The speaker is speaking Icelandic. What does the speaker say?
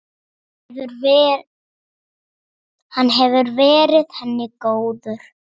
Hann hefur verið henni góður.